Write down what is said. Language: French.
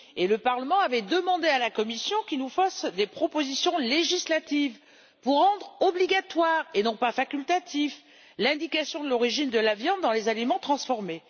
Le Parlement avait d'ailleurs demandé à la Commission qu'elle nous fasse des propositions législatives pour rendre obligatoire et non pas facultative l'indication de l'origine de la viande dans les aliments transformés.